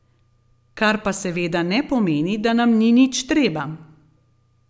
Kar pa seveda ne pomeni, da nam ni nič treba.